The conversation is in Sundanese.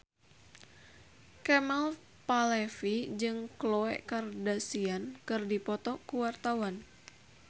Kemal Palevi jeung Khloe Kardashian keur dipoto ku wartawan